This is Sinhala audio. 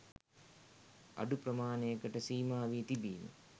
අඩු ප්‍රමාණයකට සීමා වී තිබීම